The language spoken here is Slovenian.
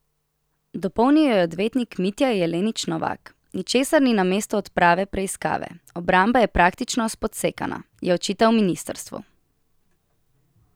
Dopolnil jo je odvetnik Mitja Jelenič Novak: 'Ničesar ni namesto odprave preiskave, obramba je praktično spodsekana,' je očital ministrstvu.